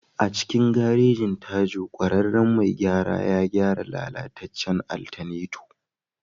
A cikin garejin, Tajo ƙwararren mai gyara ya gyara lalatacen alternator.